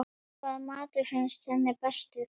Hvaða matur finnst henni bestur?